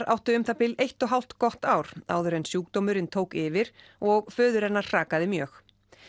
áttu um það bil eitt og hálft gott ár áður en sjúkdómurinn tók yfir og föður hennar hrakaði mjög